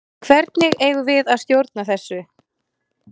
Hvernig eigum við að stjórna þessu?